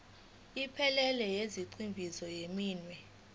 ephelele yezigxivizo zeminwe